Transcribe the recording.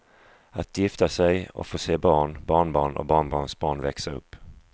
Att gifta sig och få se barn, barnbarn och barnbarns barn växa upp.